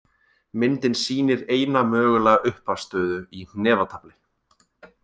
Myndin sýnir eina mögulega upphafsstöðu í hnefatafli.